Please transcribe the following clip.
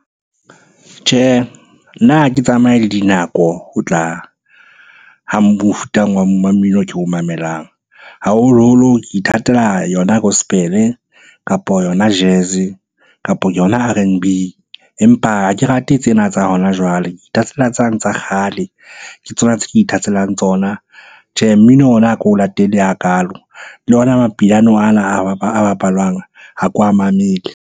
Tjhehe, nna ha ke tsamaye le dinako ho tla mmino o ko o mamelang. Haholoholo ke ithatela yona Gospel-e, kapa yona Jazz-e, kapo yona R_N_B. Empa ha ke rate tsena tsa hona jwale, ke ithatela tsane tsa kgale. Ke tsona tse ke ithatelang tsona. Tjhe, mmino ona ha ke o latele hakalo, le ona Mapiano ana a bapalwang ha ke wa mamele.